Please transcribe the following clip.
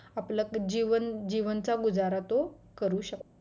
आपलं आपलं जीवन जीवनाचा गुजारा तो करू शकतो